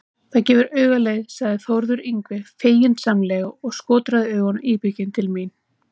Það gefur auga leið, sagði Þórður Yngvi feginsamlega og skotraði augunum íbygginn til mín.